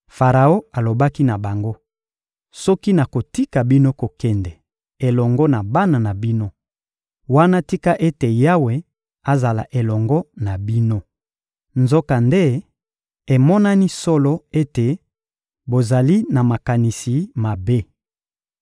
Faraon alobaki na bango: — Soki nakotika bino kokende elongo na bana na bino, wana tika ete Yawe azala elongo na bino! Nzokande emonani solo ete bozali na makanisi mabe.